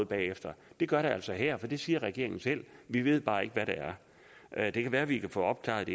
bagefter det gør der altså her for det siger regeringen selv vi ved bare ikke hvad det er det kan være vi kan få opklaret